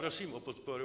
Prosím o podporu.